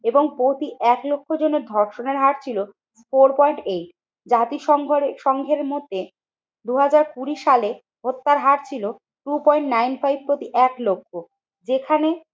এবং প্রতি এক লক্ষ জনে ধর্ষণের হার ছিল ফোর পয়েন্ট এইট। জাতিসংঘরে সংঘের মতে দুই হাজার কুড়ি সালে হত্যার হারছিল টু পয়েন্ট নাইন ফাইভ প্রতি এক লক্ষ। যেখানে